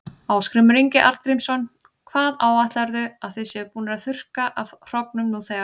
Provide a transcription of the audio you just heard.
Ásgrímur Ingi Arngrímsson: Hvað áætlarðu að þið séuð búnir að þurrka af hrognum nú þegar?